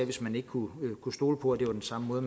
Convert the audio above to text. hvis man ikke kunne kunne stole på at det var den samme måde